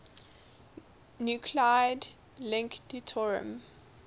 nuclide link deuterium